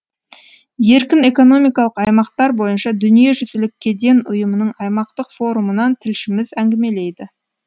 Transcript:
еркін экономикалық аймақтар бойынша дүниежүзілік кеден ұйымының аймақтық форумынан тілшіміз әңгілемейді